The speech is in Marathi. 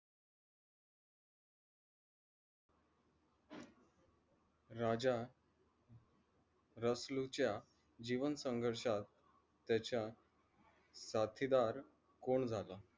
राजा रसलू च्या जीवन संघर्षांत त्याच्या साथीदार कोण झाला?